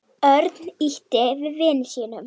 Örn ýtti við vini sínum.